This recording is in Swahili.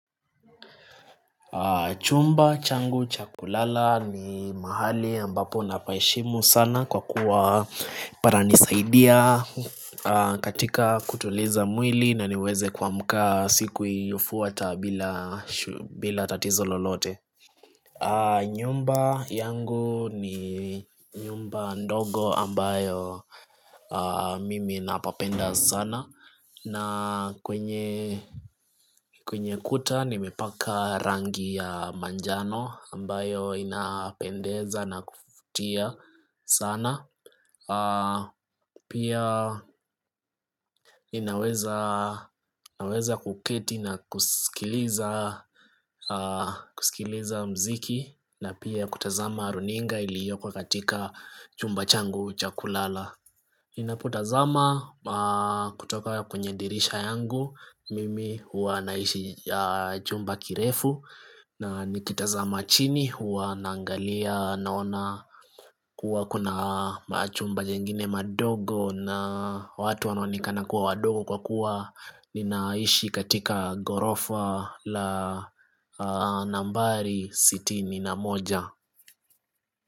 Chumba changu cha kulala ni mahali ambapo na pa heshimu sana kwa kuwa pana nisaidia katika kutuliza mwili na niweze kuamuka siku iliyofuata bila tatizo lolote nyumba yangu ni nyumba ndogo ambayo mimi napapenda sana na kwenye kuta nimepaka rangi ya manjano ambayo inapendeza na kuvutia sana Pia ninaweza kuketi na kusikiliza muziki na pia kutazama runinga iliyoko katika chumba changu cha kulala Ninapo tazama kutoka kwenye dirisha yangu, mimi hua naishi chumba kirefu na nikitazama chini hua naangalia naona kuwa kuna machumba jengine madogo na watu wana onekana kuwa wadogo kwa kuwa ninaishi katika gorofa la nambari sitini na moja.